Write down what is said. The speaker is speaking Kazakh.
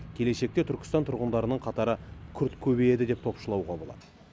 келешекте түркістан тұрғындарының қатары күрт көбейеді деп топшылауға болады